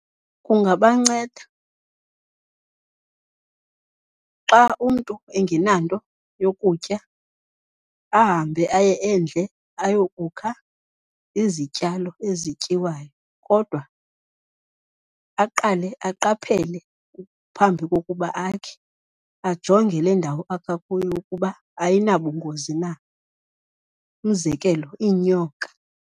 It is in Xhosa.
Kungabanceda, xa umntu engenanto yokutya ahambe aye endle ayokukha izityalo ezityiwayo. Kodwa aqale aqaphele phambi kokuba akhe, ajonge lendawo akha kuyo ukuba ayinabungozi na, umzekelo iinyoka.